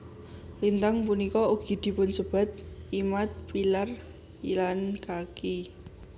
Lintang punika ugi dipunsebat Imad pillar lan Kaki